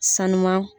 Sanu